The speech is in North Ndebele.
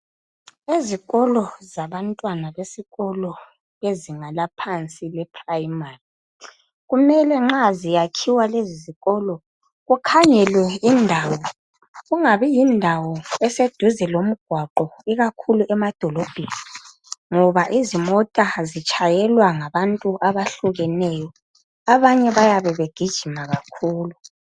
Ezikolo zabantwana besikolo bezinga laphansi eprimary kumele nxa ziyakhiwa lezizikolo kukhangelwe indawo kungabi yindawo eseduze lomgwaqo ikakhulu emadolobheni ngoba izimota zitshayelwa ngabantu abahlukeneyo, abanye bayabe begijima kakhulu.